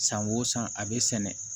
San o san a bɛ sɛnɛ